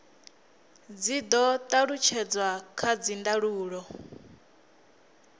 dzi do talutshedzwa kha dzindaulo